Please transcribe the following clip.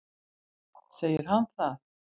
Segir hann það?